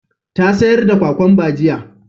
Ta sayar da kwakamba jiya